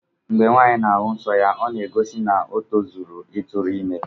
Ngbo nwanyi na ahu nsọ ya ọna egosi na otozuola itụrụ ime.